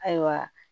Ayiwa